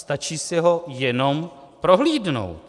Stačí si ho jenom prohlédnout.